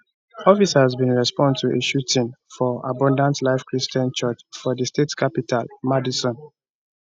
officers bin respond to a shooting for abundant life christian school for di state capital madison